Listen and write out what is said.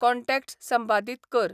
contacts संपादीत कर